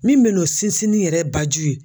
Min be n'o sinsinni yɛrɛ baju ye